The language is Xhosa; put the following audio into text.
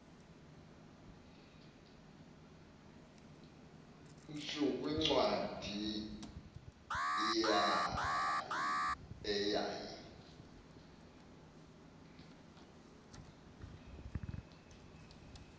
tsu kwincwadi eyayi